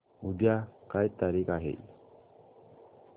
उद्या काय तारीख आहे